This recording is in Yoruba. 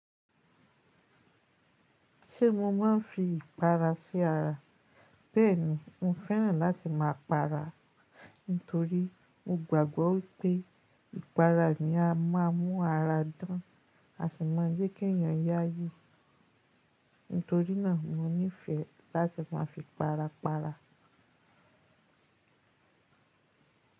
Ṣé mo máa ń fi ìpara sí ara? Bẹ́ẹ̀ni, mo fẹ́ràn láti máa para, nítorí mo gbàgbọ́ pé ìpara ni a máa ń mú ara dán, a sì ma je kí ẹ̀yàn yá yí. Nítorí náà mo nífẹ̀ẹ́ láti máa fi para para.